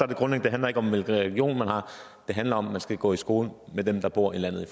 det grundlæggende ikke om hvilken religion man har det handler om at man skal gå i skole med dem der bor i landet